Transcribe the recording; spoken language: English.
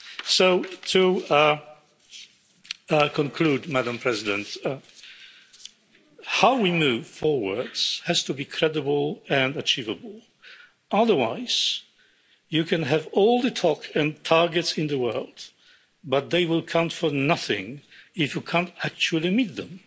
So to conclude, Madam President. How we move forward has to be credible and achievable, otherwise you can have all the talk and targets in the world, but they will count for nothing if you can't actually meet them.